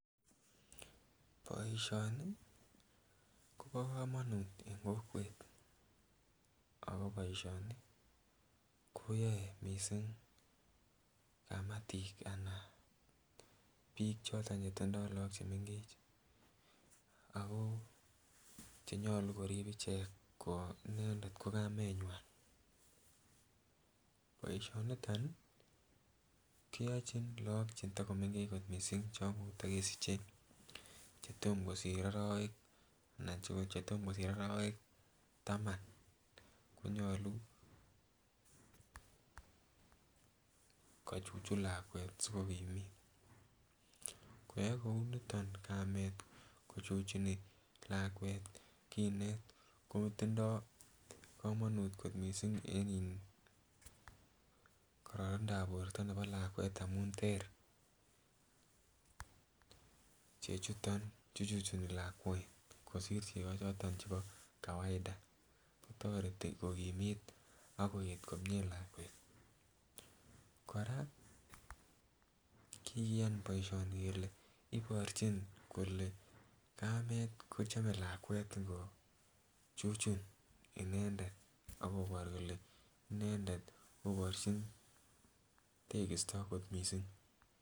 Boishoni Kobo komonut en kokwet ako boishoni kiyoe missing kamatik anan bik choton chetindo lok chemengech akoo chenyolu korib ichek ko inendet ko inendet ko kamenywan. Boishoniton nii keyochi lok cheto komengech kot missing chon koto kesiche chetom kosir orowek anan chetom kosir orowek taman konyoluko chuchun lakwet sikokimit, koyoe kuou niton kamet kochuchuni lakwet kinet kotindo komonut ko missing en iih kororonindap borto nebo lakwet amun ter chechuton chu chuchuni lakwet kosir cheko choton chebo kawaida, toreti kokimit ak koyet komie lakwet . Koraa kikiyan boishoni kele iborchin kole kamet kochome lakwet ingochuchun inendet ako boru kole inendet koborchin tekisto kot missing.